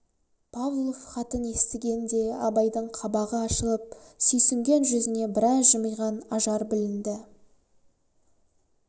павлов хатын естігенде абайдың қабағы ашылып сүйсінген жүзіне біраз жымиған ажар білінді